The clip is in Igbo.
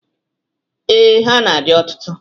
Ee, ha dị ọtụtụ.